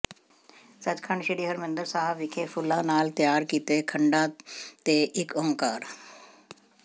ਸੱਚਖੰਡ ਸ੍ਰੀ ਹਰਿਮੰਦਰ ਸਾਹਿਬ ਵਿਖੇ ਫੁੱਲਾਂ ਨਾਲ ਤਿਆਰ ਕੀਤੇ ਖੰਡਾ ਤੇ ਇਕ ਉਂਕਾਰ